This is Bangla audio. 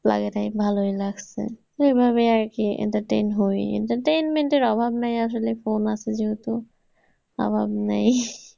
লাগে নাই ভালই লাগছে। এইভাবেই আর কি entertain হয়েই entertainment এর অভাব নেই আসলে phone আছে যেহেতু, অভাব নেই